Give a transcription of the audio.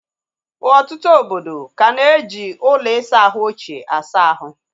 Ọtụtụ obodo ka na eji ụlọ isa ahụ ochie asa ahụ